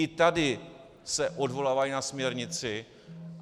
I tady se odvolávají na směrnici.